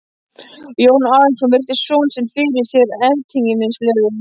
Jón Arason virti son sinn fyrir sér ertnislegur.